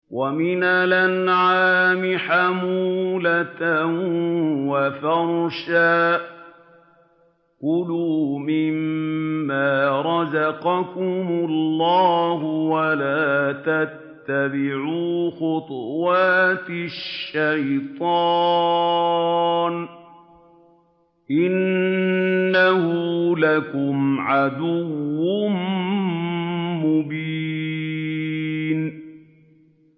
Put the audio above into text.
وَمِنَ الْأَنْعَامِ حَمُولَةً وَفَرْشًا ۚ كُلُوا مِمَّا رَزَقَكُمُ اللَّهُ وَلَا تَتَّبِعُوا خُطُوَاتِ الشَّيْطَانِ ۚ إِنَّهُ لَكُمْ عَدُوٌّ مُّبِينٌ